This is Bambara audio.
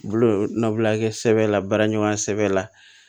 Bulu no bulon a be kɛ sɛbɛla baara ɲuman sɛbɛ la